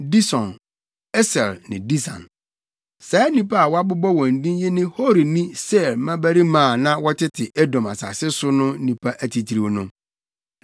Dison, Eser ne Disan. Saa nnipa a wɔabobɔ wɔn din yi ne Horini Seir mmabarima a na wɔtete Edom asase so no nnipa atitiriw no.